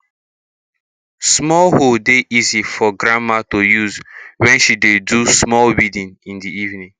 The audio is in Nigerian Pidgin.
small hoe dey easy for grandma to use wen she dey do small weeding in the evening